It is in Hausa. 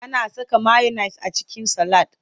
Ana saka mayones a cikin salad.